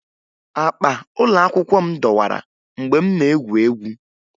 Akpa ụlọakwụkwọ m dọwara mgbe m na-egwu egwu